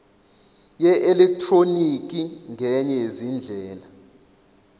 yeelektroniki ngenye yezindlela